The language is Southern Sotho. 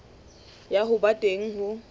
ya ho ba teng ho